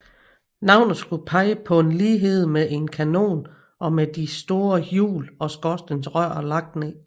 Navnet skulle pege på en lighed med en kanon med de store hjul og skorstensrøret lagt ned